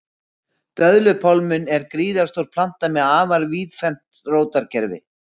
Döðlupálminn er gríðarstór planta með afar víðfeðmt rótarkerfi.